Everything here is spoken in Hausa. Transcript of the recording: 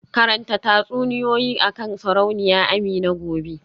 Karanta tatsuniyoyi akan Sarauniya Amina gobe